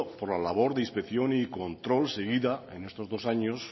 por la labor de inspección y control seguida en estos dos años